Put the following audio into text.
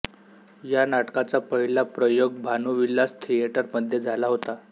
या नाटकाचा पहिला प्रयोग भानुविलास थियेटर मध्ये झाला होता